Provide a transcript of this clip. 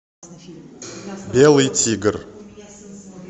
белый тигр